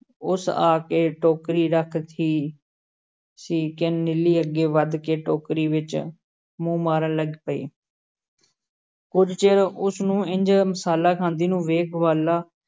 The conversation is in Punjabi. ਉਸ ਆ ਕੇ ਟੋਕਰੀ ਰੱਖਤੀ ਸੀ ਕਿ ਨੀਲੀ ਅੱਗੇ ਵਧ ਕੇ ਟੋਕਰੀ ਵਿੱਚ ਮੂੰਹ ਮਾਰਨ ਲੱਗ ਪਈ ਕੁਝ ਚਿਰ ਉਸ ਨੂੰ ਇੰਞ ਮਸਾਲਾ ਖਾਂਦੀ ਨੂੰ ਵੇਖ ਗਵਾਲਾ